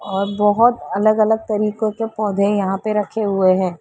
और बहुत अलग अलग तरीको के पौधे यहाँ पे रखे हुए हैं।